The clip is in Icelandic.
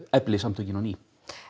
efli samtökin á ný